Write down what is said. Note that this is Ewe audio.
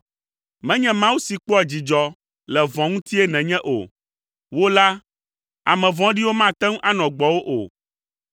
Menye Mawu si kpɔa dzidzɔ le vɔ̃ ŋutie nènye o; wò la, ame vɔ̃ɖiwo mate ŋu anɔ gbɔwò o.